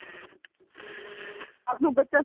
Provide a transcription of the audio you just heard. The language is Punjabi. ਰਾਤ ਨੂੰ ਬੱਚਾ